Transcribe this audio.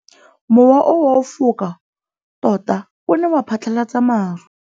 Mowa o wa go foka tota o ne wa phatlalatsa maru.